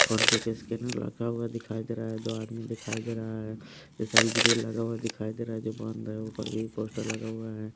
PhonePe के scanner रखा हुआ दिखाई दे रहा है दो आदमी दिखाई दे रहा है इस साइड ग्रिल लगा हुआ दिखाई दे रहा है जो बंद है ऊपर भी पोस्टर लगा हुआ है।